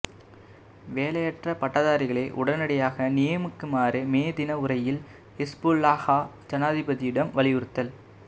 வேலையற்ற பட்டதாரிகளை உடனடியாக நியமிக்குமாறு மே தின உரையில் ஹிஸ்புல்லாஹா ஜனாதிபதியிடம் வலியுறுத்தல்